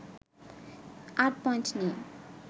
৮ point নিয়ে